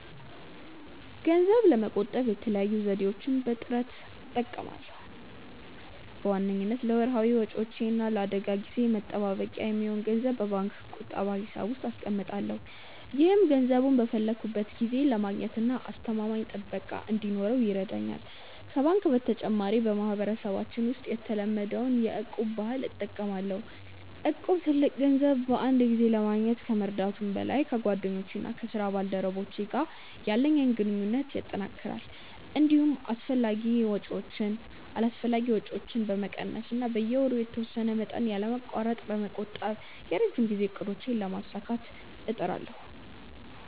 ገንዘብ ለመቆጠብ የተለያዩ ዘዴዎችን በጥምረት እጠቀማለሁ። በዋነኝነት ለወርሃዊ ወጪዎቼ እና ለአደጋ ጊዜ መጠባበቂያ የሚሆን ገንዘብ በባንክ ቁጠባ ሂሳብ ውስጥ አስቀምጣለሁ። ይህም ገንዘቡን በፈለግኩት ጊዜ ለማግኘትና አስተማማኝ ጥበቃ እንዲኖረው ይረዳኛል። ከባንክ በተጨማሪ፣ በማህበረሰባችን ውስጥ የተለመደውን የ'እቁብ' ባህል እጠቀማለሁ። እቁብ ትልቅ ገንዘብ በአንድ ጊዜ ለማግኘት ከመርዳቱም በላይ፣ ከጓደኞቼና ከስራ ባልደረቦቼ ጋር ያለኝን ግንኙነት ያጠናክራል። እንዲሁም አላስፈላጊ ወጪዎችን በመቀነስ እና በየወሩ የተወሰነ መጠን ያለማቋረጥ በመቆጠብ የረጅም ጊዜ እቅዶቼን ለማሳካት እጥራለሁ።